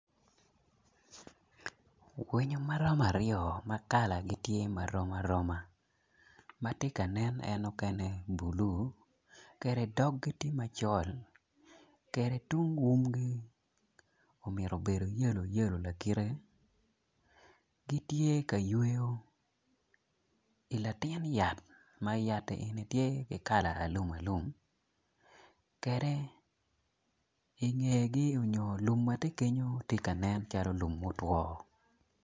Winyo ma romo aryo ma kalanen rom aroma mukene tye ka nen ma bulu dogi tye macol tung umgi obedo yeloyelo gitye ka yweyo i latin yat ma yat eni tye kala ma alumalum.